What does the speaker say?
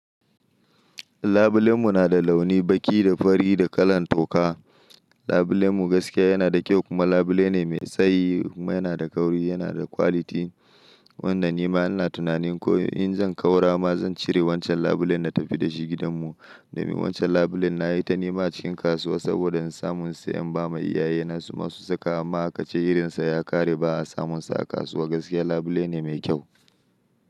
Labulenmu nada launi baki da fari da kalan toka. Labulenmu gaskiya yanada kyau kuma labulene mai tsayi kuma yanada kauri, yanada quality. Wanda nima ina tunanin ko inzan kaura ma zancire wancan labulen natafi dashi gidanmu. Domin wancan labulen nayita nema acikin kasuwa saboda insamu in siya in bama iyayena suma su saka amma akace jirinsa ya ƙare ba'a samunsa a kasuwa. Gaskiya labule ne mai kyau.